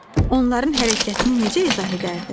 Onların hərəkətini necə izah edərdin?